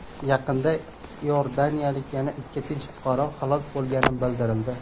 Yaqinda iordaniyalik yana ikki tinch fuqaro halok bo‘lgani bildirildi.